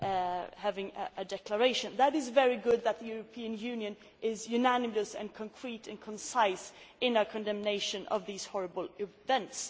It is very good that the European Union is unanimous, concrete and concise in its condemnation of these horrible events.